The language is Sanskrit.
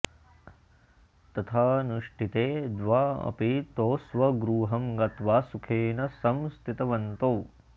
तथानुष्ठिते द्वावपि तौ स्वगृहं गत्वा सुखेन सं स्थितवन्तौ